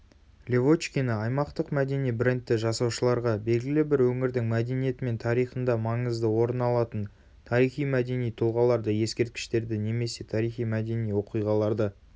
левочкина аймақтық мәдени брендті жасаушыларға белгілі бір өңірдің мәдениеті мен тарихында маңызды орыналатын тарихи-мәдени тұлғаларды ескерткіштерді немесе тарихи-мәдени оқиғаларды